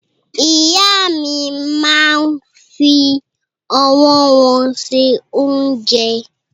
Ìyá mi máa ń fi ọwọ́ wọn ṣe oúnjẹ.